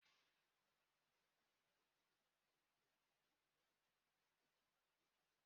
Akpa epiidura kwesịrị ịmalite ịrụ ọrụ n'otu nkeji.